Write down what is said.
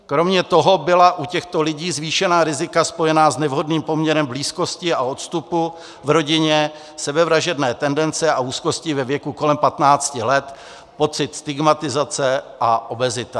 Kromě toho byla u těchto lidí zvýšená rizika spojená s nevhodným poměrem blízkosti a odstupu v rodině, sebevražedné tendence a úzkosti ve věku kolem 15 let, pocit stigmatizace a obezita.